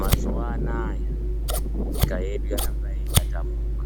Mazuwa Anaya nyika yedu yaramba yeitatamuka